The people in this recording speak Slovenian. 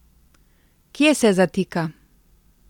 Kje se zatika?